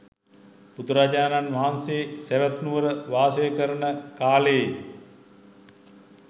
බුදුරජාණන් වහන්සේ සැවැත් නුවර වාසය කරන කාලයේ